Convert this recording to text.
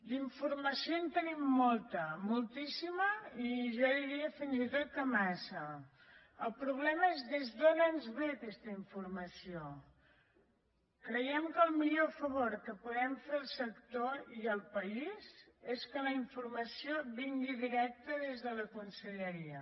d’informació en tenim molta moltíssima i jo diria fins i tot que massa el problema és d’on ens ve aquesta informació creiem que el millor favor que podem fer al sector i al país és que la informació vingui directa des de la conselleria